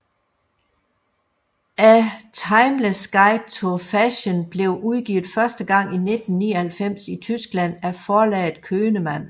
A Timeless Guide to Fashion blev udgivet første gang i 1999 i Tyskland af forlaget Könemann